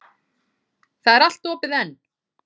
Það er allt opið enn.